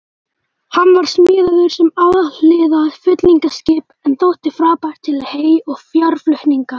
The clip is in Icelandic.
Hann var smíðaður sem alhliða flutningaskip en þótti frábær til hey- og fjárflutninga.